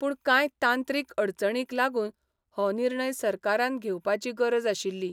पूण कांय तांत्रीक अडचणींक लागून हो निर्णय सरकारान घेवपाची गरज आशिल्ली.